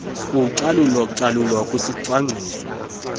kucalu calulo kwisicwangciso